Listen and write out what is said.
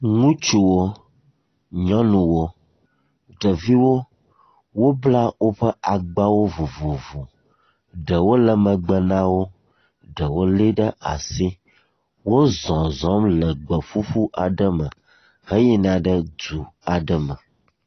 Ŋutsuwo, nyɔnuwo, ɖeviwo wobla woƒe agbawo vovovovo. Ɖewo le megbe na wo, ɖewo lée ɖe asi, wozɔzɔm le gbe ƒuƒu aɖe me heyina ɖe du aɖe me.